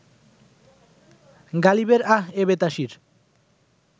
গালিবের আহ এ বেতাসির